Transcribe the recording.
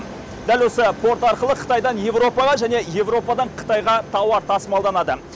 дәл осы порт арқылы қытайдан еуропаға және еуропадан қытайға тауар тасымалданады